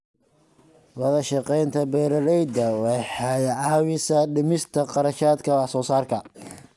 Wadashaqeynta beeralayda waxay caawisaa dhimista kharashaadka wax soo saarka.